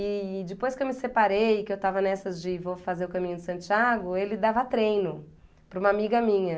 E depois que eu me separei, que eu estava nessas de vou fazer o caminho de Santiago, ele dava treino para uma amiga minha.